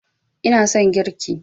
ina son girki